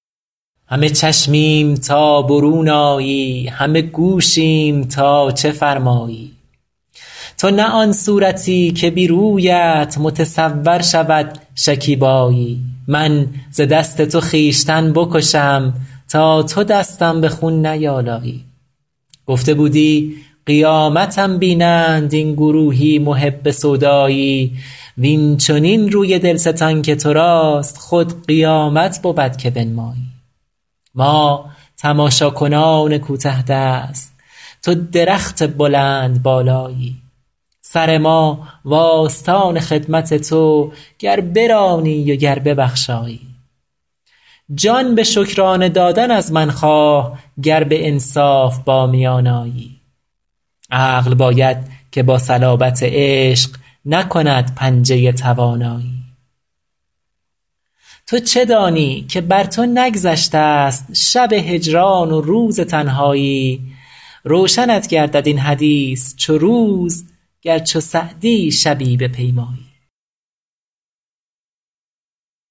همه چشمیم تا برون آیی همه گوشیم تا چه فرمایی تو نه آن صورتی که بی رویت متصور شود شکیبایی من ز دست تو خویشتن بکشم تا تو دستم به خون نیآلایی گفته بودی قیامتم بینند این گروهی محب سودایی وین چنین روی دل ستان که تو راست خود قیامت بود که بنمایی ما تماشاکنان کوته دست تو درخت بلندبالایی سر ما و آستان خدمت تو گر برانی و گر ببخشایی جان به شکرانه دادن از من خواه گر به انصاف با میان آیی عقل باید که با صلابت عشق نکند پنجه توانایی تو چه دانی که بر تو نگذشته ست شب هجران و روز تنهایی روشنت گردد این حدیث چو روز گر چو سعدی شبی بپیمایی